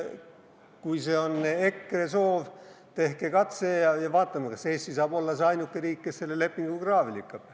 Kui see on EKRE soov, tehke katse ja vaatame, kas Eesti saab olla ainuke riik, kes selle lepingu kraavi lükkab.